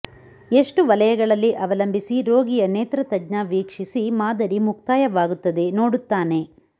ಎಷ್ಟು ವಲಯಗಳಲ್ಲಿ ಅವಲಂಬಿಸಿ ರೋಗಿಯ ನೇತ್ರತಜ್ಞ ವೀಕ್ಷಿಸಿ ಮಾದರಿ ಮುಕ್ತಾಯವಾಗುತ್ತದೆ ನೋಡುತ್ತಾನೆ